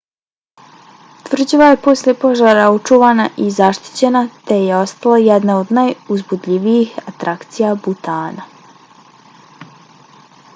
tvrđava je posle požara očuvana i zaštićena te je ostala jedna od najuzbudljivijih atrakcija butana